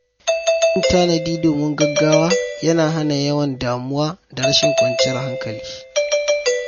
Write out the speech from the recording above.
Yin tanadi domin gaugawa yana hana yawan damuwa da rashin kwanciyar hankali.